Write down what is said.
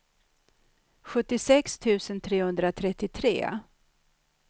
sjuttiosex tusen trehundratrettiotre